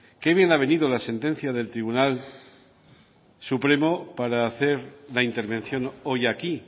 que bien le ha venido la sentencia del tribunal supremo para hacer la intervención hoy aquí